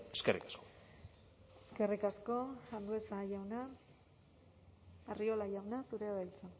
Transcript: eskerrik asko eskerrik asko andueza jauna arriola jauna zurea da hitza